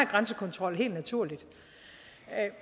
grænsekontrol helt naturligt